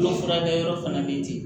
Kolo furakɛyɔrɔ fana bɛ ten